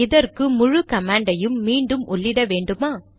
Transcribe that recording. இதற்கு முழு கமாண்டையும் மீண்டும் உள்ளிட வேண்டுமா